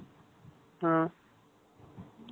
ம்.